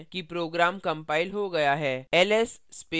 हम देखते हैं कि program कंपाइल हो गया है